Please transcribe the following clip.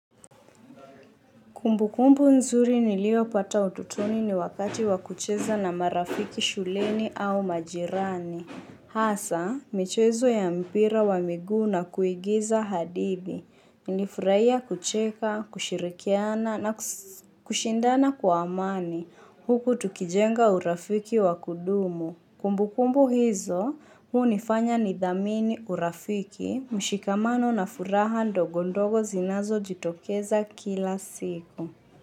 Kumbu kumbu nzuri niliyopata utotoni ni wakati wakucheza na marafiki shuleni au majirani. Hasa, michezo ya mpira wa miguu na kuigiza hadidi. Nilifurahia kucheka, kushirikiana na kushindana kwa amani. Huku tukijenga urafiki wa kudumu. Kumbu kumbu hizo hunifanya nidhamini urafiki mshikamano na furaha ndogo ndogo zinazojitokeza kila siku.